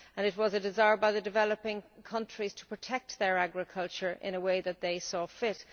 It was a desire by the developing countries to protect their agriculture in a way that they saw fit.